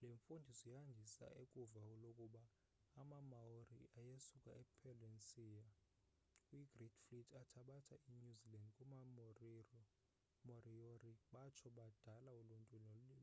le mfundiso yandisa ukuvo lokuba amamaori ayesuka e polynesia kwi great fleet athabatha i newzealand kuma-moriori batsho badala uluntu